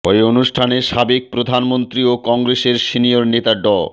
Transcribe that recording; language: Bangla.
ওই অনুষ্ঠানে সাবেক প্রধানমন্ত্রী ও কংগ্রেসের সিনিয়র নেতা ড